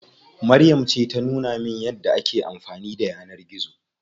Maryam ce ta nuna min yadda ake amfani da yanar gizo.